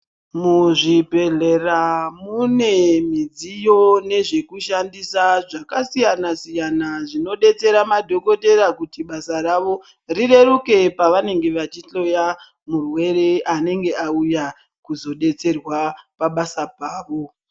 Muzvibhedhlera mune midziyo nezvekushandisa zvakasiyana-siyana, zvinobetsera madhokotera kuti basa ravo rireruke. Pavanenge vachihloya murwere anenge auya kuzobetserwa pabasa pavo.